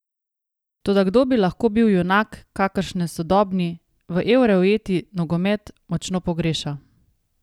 Toda kdo bi lahko bil junak, kakršne sodobni, v evre ujeti nogomet močno pogreša?